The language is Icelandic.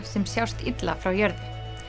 sem sjást illa frá jörðu